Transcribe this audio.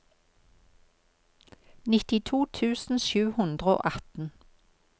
nittito tusen sju hundre og atten